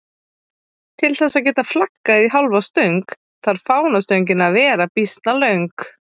Til þess að geta flaggað í hálfa stöng þarf fánastöngin að vera býsna löng.